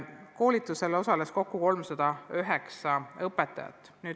Koolitusel osales kokku 309 õpetajat.